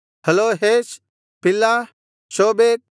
ಹಲೋಹೇಷ್ ಪಿಲ್ಹ ಶೋಬೇಕ್